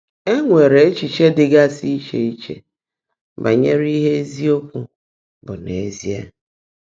É nwèrè échíché dị́gásị́ íchè íche bányèré íhe ézíokwú bụ́ n’ézíe.